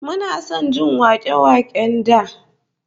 Muna son jin wake-waken da